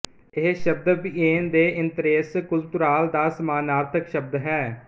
ਇਹ ਸ਼ਬਦ ਬੀਏਨ ਦੇ ਇੰਤੇਰੇਸ ਕੁਲਤੂਰਾਲ ਦਾ ਸਮਾਨਾਰਥਕ ਸ਼ਬਦ ਹੈ